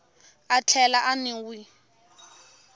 a tlhela a n wi